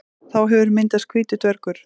Þá hefur myndast hvítur dvergur.